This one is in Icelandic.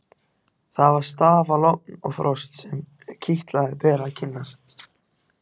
Það var stafalogn og frost sem kitlaði berar kinnar.